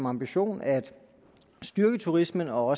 ambition at styrke turismen og